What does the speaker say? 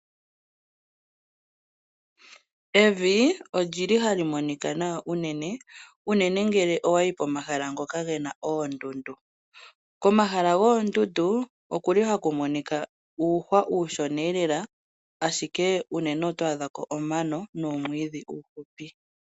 Evi oli li hali monika nawa unene , unene ngele owa yi komahala ngoka ge na oondundu. Komahala goondundu ohaku monika uuhwa uushona lela ashike unene oto adha ko omano nuumwidhi uufupi.